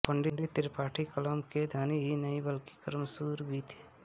पं त्रिपाठी कलम के धनी ही नहीं बल्कि कर्मशूर भी थे